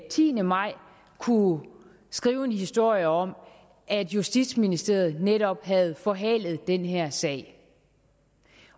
tiende maj kunne skrive en historie om at justitsministeriet netop havde forhalet den her sag